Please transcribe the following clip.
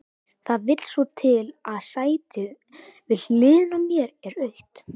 Það vill svo til að sætið við hliðina á mér er autt.